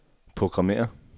programmér